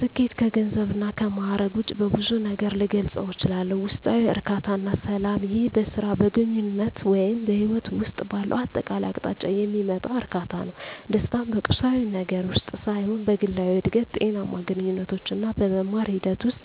ስኬት ከገንዘብ እና ከማእረግ ውጭ በብዙ ነገር ልገልፀው እችላልሁ። ውስጣዊ እርካታ እና ሰላም ይህ በሥራ፣ በግንኙነት ወይም በሕይወት ውስጥ ባለው አጠቃላይ አቅጣጫ የሚመጣ እርካታ ነው። ደስታን በቁሳዊ ነገር ውስጥ ሳይሆን በግላዊ እድገት፣ ጤናማ ግንኙነቶች እና በመማር ሂደት ውስጥ